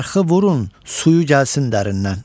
Arxı vurun, suyu gəlsin dərindən.